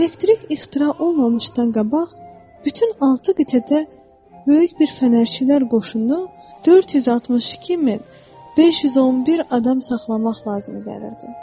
Elektrik ixtira olunmamışdan qabaq bütün altı qitədə böyük bir fənərçilər qoşunu 462 min 511 adam saxlamaq lazım gəlirdi.